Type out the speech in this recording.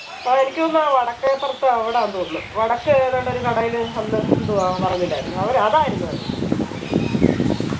ആയിരിക്കുമാ വടക്കേപ്പുറത്ത് അവിടാന്തോന്ന് വടക്ക് ഏതാണ്ട് ഒരുകടയില് അന്ന് എന്തോ അവൻ പറഞിണ്ടായിരുന്നു അവതായിരുന്നു പറഞ്ഞത്